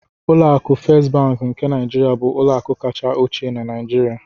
Ụlọ akụ Fést Bankị nke Niijiria bụ ụlọakụ kacha ochie na Niijiria.